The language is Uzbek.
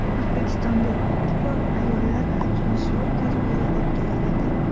O‘zbekistonda ilk bor ayollar hajviy shou dasturi o‘tkaziladi.